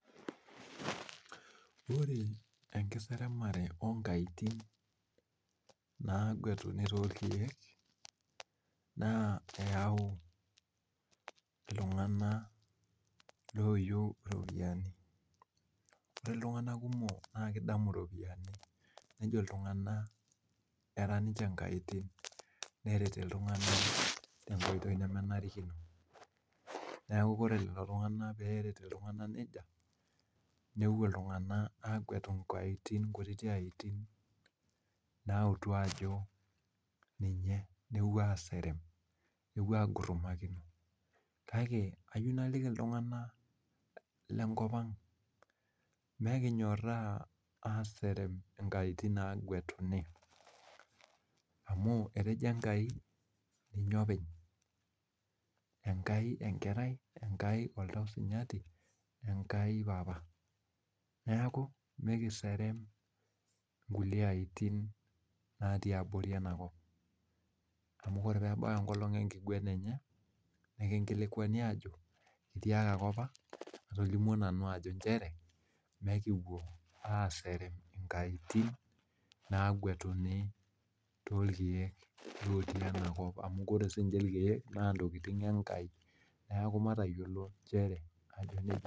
Ore enkiseremare onkaitin nagwetuni torkeek naa eyau iltung'ana loyieu iropiani ore iltung'ana kumok naa kidamu iropiani nejo iltung'ana era ninche inkaitin neret iltung'ana tenkoitoi nemenarikino neeku kore lelo tung'anak peeret iltung'anak nejia newuo iltung'ana agwetu inkaitin kutiti aitin nautu ajo ninye newuo aserem newuo aigutumakino kake ayieu naliki iltung'ana lenkop ang amu etejo Enkai ninye openy Enkai enkerai Enkai oltau sinyatai Enkai papa neeku mekiserem nkulie aitin natii abori enakop amu kore peebau enkolong enkiguena nekinkilikuani aajo kitiakaki opa atolimuo nanu ajo nchere mekipuo aserem inkaitin nagwetuni tolkeek lotiii enakop amu kore sininche ilkeek naa intokiting Enkai neeku matayiolo nchere ajo nejia.